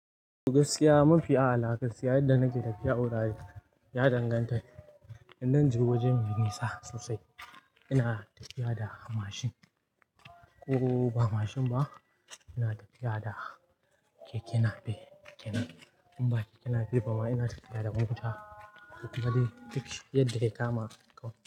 Gaskiya mafi a'la gaskiya yadda nake tafiya wurare ya danganta in zan je waje mai nisa sosai. Ina tafiya da mashin ko ba mashin ba ina tafiya da keke nape. In ba keke nape ba ma ina tafiya da mota. Kuma dai duk yadda ya kama kawai.